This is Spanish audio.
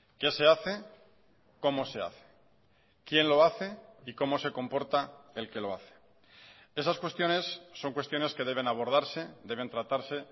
qué se hace cómo se hace quién lo hace y cómo se comporta el que lo hace esas cuestiones son cuestiones que deben abordarse deben tratarse